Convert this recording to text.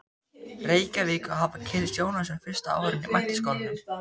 Reykjavík og hafa kynnst Jónasi á fyrsta árinu í Menntaskólanum.